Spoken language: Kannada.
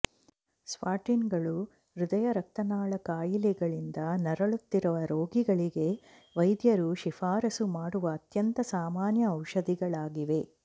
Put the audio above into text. ಸ್ಟಾಟಿನ್ಗಳು ಹೃದಯ ರಕ್ತನಾಳ ಕಾಯಿಲೆಗಳಿಂದ ನರಳುತ್ತಿರುವ ರೋಗಿಗಳಿಗೆ ವೈದ್ಯರು ಶಿಫಾರಸು ಮಾಡುವ ಅತ್ಯಂತ ಸಾಮಾನ್ಯ ಔಷಧಿಗಳಾಗಿವೆ